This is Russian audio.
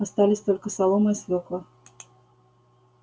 остались только солома и свёкла